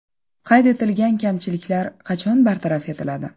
Qayd etilgan kamchiliklar qachon bartaraf etiladi?